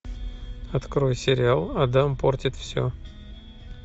открой сериал адам портит все